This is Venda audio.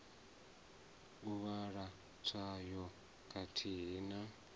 u vhala tswayo khathihi na